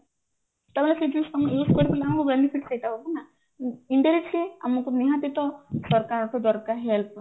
benefit ସେଇଟା ହବ ନା indirectly ଆମକୁ ନିହାତି ତ ସରକାରଙ୍କ ଠୁ ଦରକାର help